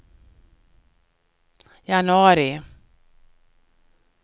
januari